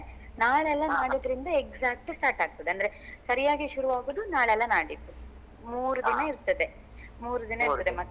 ನಾಳೆಯಲ್ಲ ನಾಡಿದ್ರಿಂದ exact start ಆಗ್ತದೆ ಅಂದ್ರೆ ಸರಿಯಾಗಿ ಶುರು ಆಗುದು ನಾಳೆ ಅಲ್ಲ ನಾಡಿದ್ದು ಮೂರ್ ದಿನ ಇರ್ತದೆ .